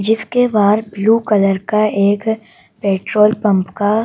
जिसके बाहर blue colour का एक पेट्रोल पंप का--